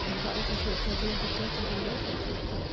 En hvað olli því að þeir réðu betur við mótlætið í kvöld?